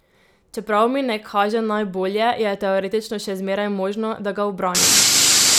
Čeprav mi ne kaže najbolje, je teoretično še zmeraj možno, da ga ubranim.